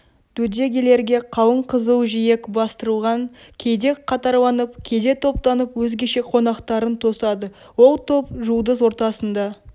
дөдегелерге қалың қызыл жиек бастырылған кейде қатарланып кейде топтанып өзгеше қонақтарын тосады ол топ жұлдыз ортасында